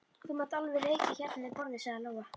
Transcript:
Þú mátt alveg reykja hérna við borðið, sagði Lóa.